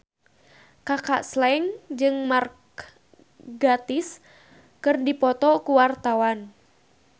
Kaka Slank jeung Mark Gatiss keur dipoto ku wartawan